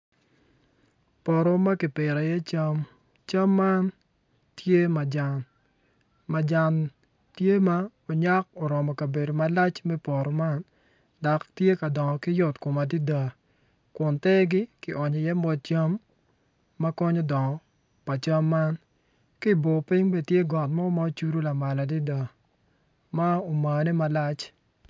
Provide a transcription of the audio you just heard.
Poto makipito i ye cam, cam man tye majan, majan tye ma nyak oromo kabedo malac me poto man dok tye ka dongo ki yotkom adada kun tergi tye ka onyo i ye moc cam makonyo dongo pacam man ki bor ping bene tye got mo ma ocudo lamal adada ma omale malac.